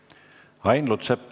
Ain Lutsepp.